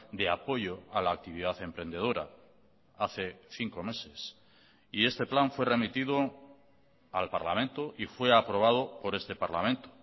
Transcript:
de apoyo a la actividad emprendedora hace cinco meses y este plan fue remitido al parlamento y fue aprobado por este parlamento